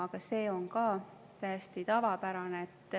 Aga see on ka täiesti tavapärane.